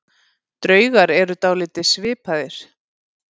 Draugar eru dálítið svipaðir.